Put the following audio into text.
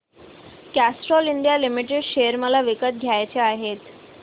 Castrol India limited share मला विकत घ्यायचे आहेत